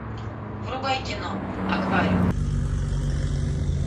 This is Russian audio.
врубай кино аквариум